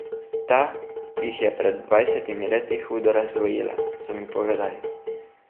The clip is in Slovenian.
Ta jih je pred dvajsetimi leti hudo razdvojila, so mi povedali.